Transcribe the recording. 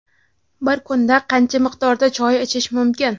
Bir kunda qancha miqdorda choy ichish mumkin?.